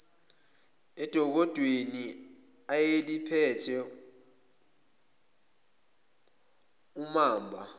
edokodweni ayeliphethe umamba